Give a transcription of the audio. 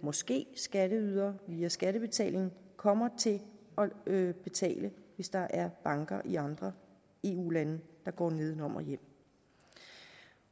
måske skatteydere via skattebetaling kommer til at betale hvis der er banker i andre eu lande der går nedenom og hjem